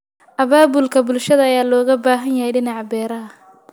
Abaabulka bulshada ayaa looga baahan yahay dhinaca beeraha.